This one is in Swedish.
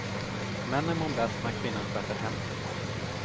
Männen mår bäst när kvinnan sköter hemmet.